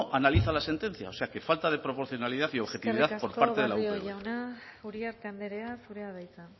analiza la sentencia o sea que falta de proporcionalidad y objetividad por parte de la upv eskerrik asko barrio jauna uriarte anderea zurea da hitza